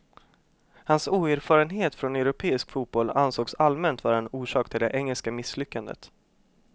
Hans oerfarenhet från europeisk fotboll ansågs allmänt vara en orsak till det engelska misslyckandet.